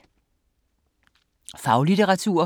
Faglitteratur